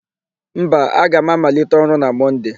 Mba, aga m amalite ọrụ na Mọnde.